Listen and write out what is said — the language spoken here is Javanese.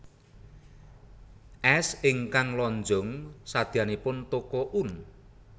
Es ingkang lonjong sadeyanipun Toko Oen